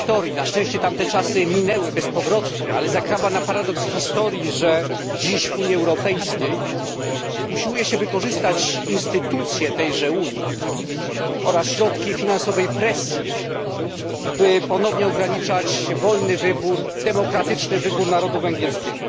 Na szczęście tamte czasy minęły bezpowrotnie, ale zakrawa na paradoks historii, że dziś w Unii Europejskiej usiłuje się wykorzystać instytucję tejże Unii oraz środki finansowej presji, by ponownie ograniczać wolny demokratyczny wybór narodu węgierskiego.